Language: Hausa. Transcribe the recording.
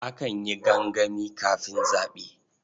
Akan yi gangami kafin zaɓe.